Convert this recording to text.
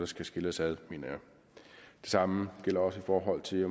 skal skille os ad det samme gælder også i forhold til